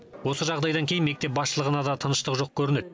осы жағдайдан кейін мектеп басшылығына да тыныштық жоқ көрінеді